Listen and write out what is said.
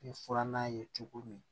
Ni furannan ye cogo min